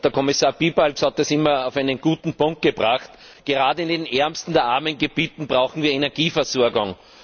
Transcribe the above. Kommissar Piebalgs hat das immer auf einen guten Punkt gebracht Gerade in den ärmsten der armen Gebiete brauchen wir Energieversorgung.